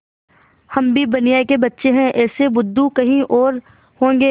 हम भी बनिये के बच्चे हैं ऐसे बुद्धू कहीं और होंगे